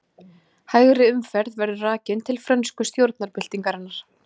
Hægri umferð verður rakin til frönsku stjórnarbyltingarinnar.